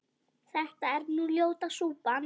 þetta er nú ljóta súpan